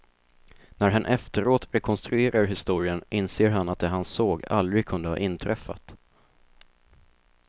När han efteråt rekonstruerar historien inser han att det han såg aldrig kunde ha inträffat.